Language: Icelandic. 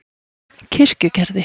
Kirkjugerði